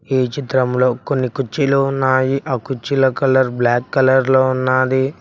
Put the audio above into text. ఈ చిత్రం లో కొన్ని కుర్చీలు ఉన్నాయి ఆ కుర్చీలా కలర్ బ్లాక్ కలర్ లో ఉన్నాది.